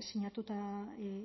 sinatuta